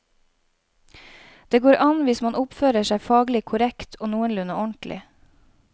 Det går an hvis man oppfører seg faglig korrekt og noenlunde ordentlig.